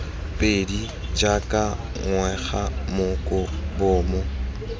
pedi jaaka ngwega moko bomo